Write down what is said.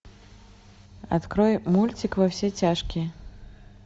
открой мультик во все тяжкие